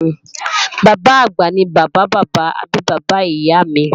Bàbá-àgbà ni bàbá bàbá àbí bàbá ìyá mi